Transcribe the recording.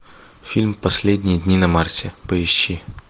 фильм последние дни на марсе поищи